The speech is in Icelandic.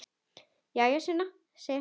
Jæja, Sunna, segir hann.